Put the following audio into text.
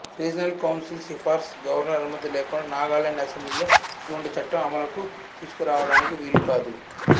regional council సిఫార్స్ governor అనుమతి లేకుండా నాగాలాండ్ అసెంబ్లీలో ఎటువంటి చట్టం అమలుకు తీసుకురావడానికి వీలుకాదు